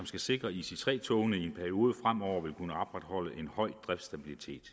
skal sikre at ic3 togene i en periode fremover vil kunne opretholde en høj driftsstabilitet